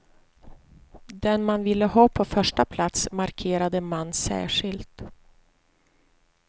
Den man ville ha på första plats markerade man särskilt.